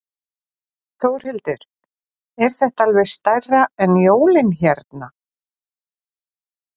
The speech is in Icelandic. Þórhildur: Er þetta alveg stærra en jólin hérna?